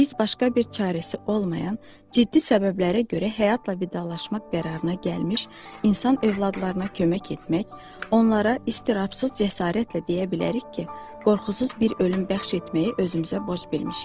Biz başqa bir çarəsi olmayan, ciddi səbəblərə görə həyatla vidalaşmaq qərarına gəlmiş insan övladlarına kömək etmək, onlara istirahsız cəsarətlə deyə bilərik ki, qorxusuz bir ölüm bəxş etməyi özümüzə borc bilmişik.